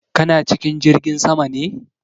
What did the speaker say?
Kana cikin jirgin sama ne?